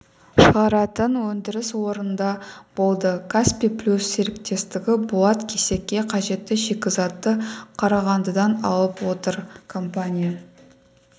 шығаратын өндіріс орнында болды каспий плюс серіктестігі болат кесекке қажетті шикізатты қарағандыдан алып отыр компания